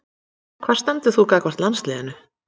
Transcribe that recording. Hvar stendur þú þá gagnvart landsliðinu?